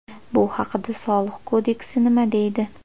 Bu haqida Soliq kodeksi nima deydi?